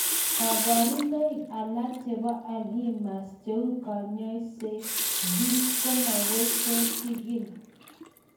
Kaparunaik alak chepo alzheimers cheu kenyishek ,genes, komakoi kechikil